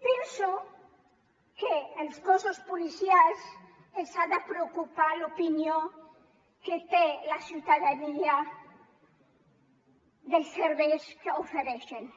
penso que als cossos policials els ha de preocupar l’opinió que té la ciutadania dels serveis que ofereixen